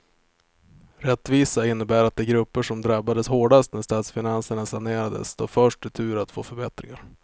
Rättvisa innebär att de grupper som drabbades hårdast när statsfinanserna sanerades står först i tur att få förbättringar.